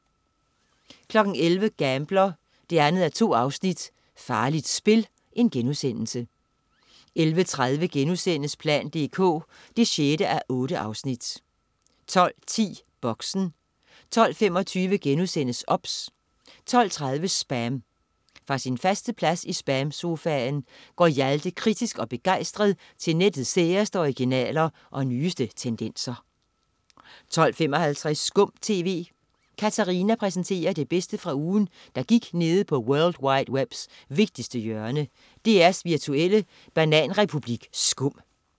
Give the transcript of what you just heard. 11.00 Gambler 2:2. Farligt spil* 11.30 plan dk 6:8* 12.10 Boxen 12.25 OBS* 12.30 SPAM. Fra sin faste plads i SPAM-sofaen går Hjalte kritisk og begejstret til nettets særeste originaler og nyeste tendenser 12.55 Skum TV. Katarina præsenterer det bedste fra ugen, der gik nede på world wide webs vigtigste hjørne, DR's virtuelle bananrepublik SKUM